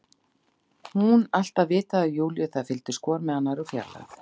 Hún alltaf vitað af Júlíu, þær fylgdust hvor með annarri úr fjarlægð.